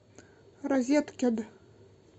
розеткед